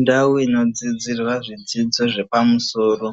Ndau inodzidzirwa zvidzidzo zvepamusoro